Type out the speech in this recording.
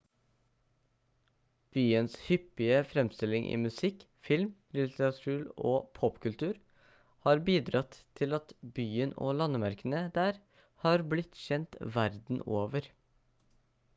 byens hyppige fremstilling i musikk film litteratur og popkultur har bidratt til at byen og landemerkene der har blitt kjent verden over